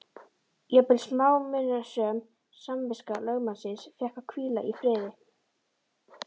Jafnvel smámunasöm samviska lögmannsins fékk að hvíla í friði.